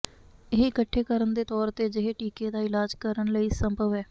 ਇਹ ਇਕੱਠੇ ਕਰਨ ਦੇ ਤੌਰ ਤੇ ਅਜਿਹੇ ਟੀਕੇ ਦਾ ਇਲਾਜ ਕਰਨ ਲਈ ਸੰਭਵ ਹੈ